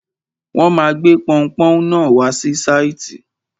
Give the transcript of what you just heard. Wọ́n ma gbé pọunpọ́ún náà wá sí sáìtì.